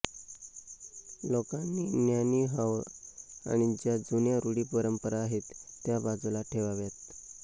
लोकांनी ज्ञानी व्हाव आणि ज्या जुन्या रूढी परंपरा आहेत त्या बाजूला ठेवाव्यात